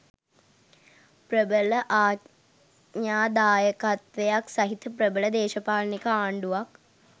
ප්‍රබල ආඥාදායකත්වයක් සහිත ප්‍රබල දේශපාලනික ආණ්ඩුවක්.